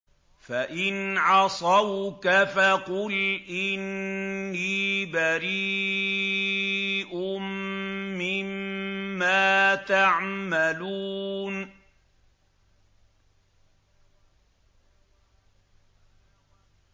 فَإِنْ عَصَوْكَ فَقُلْ إِنِّي بَرِيءٌ مِّمَّا تَعْمَلُونَ